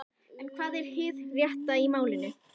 En hvað er hið rétta í málinu?